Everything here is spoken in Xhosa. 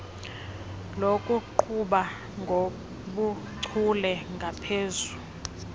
lokuqhuba ngobuchule ngaphezu